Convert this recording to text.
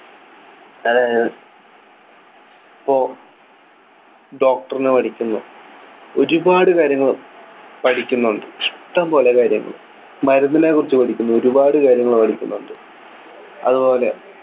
അതായത് ഇപ്പോ doctor നു പഠിക്കുന്നു ഒരുപാട് കാര്യങ്ങൾ പഠിക്കുന്നുണ്ട് ഇഷ്ടംപോലെ കാര്യങ്ങൾ മരുന്നിനെ കുറിച്ച് പഠിക്കുന്നു ഒരുപാട് കാര്യങ്ങൾ പഠിക്കുന്നുണ്ട് അതുപോലെ